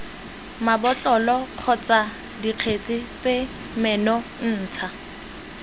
mabotlolo kgotsa dikgetse tse menontsha